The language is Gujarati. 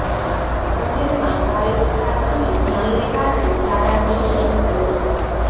શહેરમાં ભારે વરસાદ અને જામને કારણે શાળા બંધ કરવી પડી છે